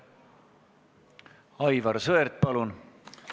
Aivar Sõerd, palun!